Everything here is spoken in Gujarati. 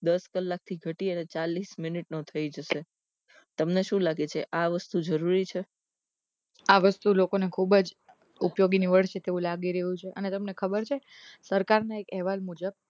દસ કલાક થી ઘટી ચાલીસ મિનીટ નો થઇ જશે તમને શું લાગે છે આ વસ્તુ જરૂરી છે આ વસ્તુ શું લોકો ને ખુબજ ઉપયોગી નીવડશે તેવું લાગી રહ્યું છે અને તમને ખબર છે સરકાર નો એક અહેવાલ મુજબ